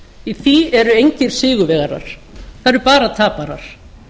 í því eru engir sigurvegarar það eru bara taparar